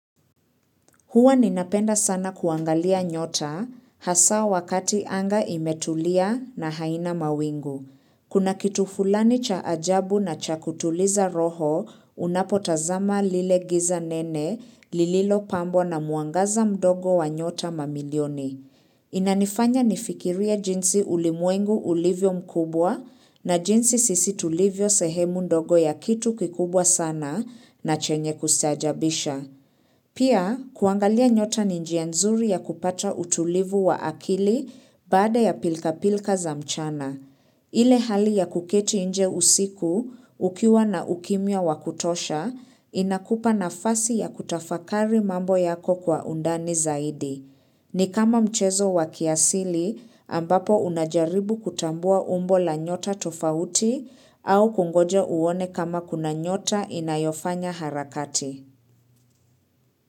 Huwa ninapenda sana kuangalia nyota hasa wakati anga imetulia na haina mawingu. Kuna kitu fulani cha ajabu na cha kutuliza roho unapotazama lile giza nene lililo pambo na mwangaza mdogo wa nyota mamilioni. Inanifanya nifikirie jinsi ulimwengu ulivyo mkubwa na jinsi sisi tulivyo sehemu ndogo ya kitu kikubwa sana na chenye kustaajabisha. Pia, kuangalia nyota ni njia nzuri ya kupata utulivu wa akili bada ya pilka pilka za mchana. Ile hali ya kuketi nje usiku ukiwa na ukimya wakutosha, inakupa nafasi ya kutafakari mambo yako kwa undani zaidi. Ni kama mchezo wa kiasili ambapo unajaribu kutambua umbo la nyota tofauti au kungoja uone kama kuna nyota inayofanya harakati.